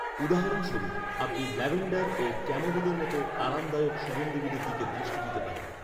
উদাহরণস্বরূপ, আপনি ল্যাভেণ্ডার ও ক্যামোমিলের মতো আরামদায়ক সুগন্ধীগুলির দিকে দৃষ্টি দিতে পারেন।